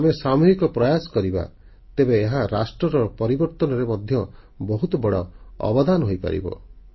ଯଦି ଆମେ ସାମୁହିକ ପ୍ରୟାସ କରିବା ତେବେ ଏହା ରାଷ୍ଟ୍ରର ପରିବର୍ତ୍ତନରେ ମଧ୍ୟ ବହୁତ ବଡ଼ ଅବଦାନ ହୋଇପାରିବ